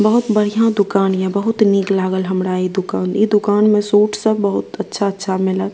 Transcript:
बहुत बढ़िया दुकान ये बहुत निक लागल हमरा इ दुकान इ दुकान मे सूट सब बहुत अच्छा-अच्छा मिलल।